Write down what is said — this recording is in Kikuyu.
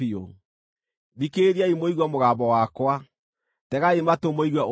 Thikĩrĩriai mũigue mũgambo wakwa; tegai matũ mũigue ũrĩa nguuga.